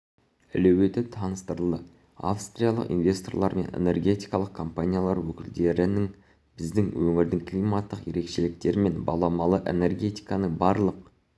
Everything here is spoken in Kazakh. әлеуеті таныстырылды австриялық инвесторлармен энергетикалық компаниялар өкілдерін біздің өңірдің климаттық ерекшеліктері мен баламалы энергетиканың барлық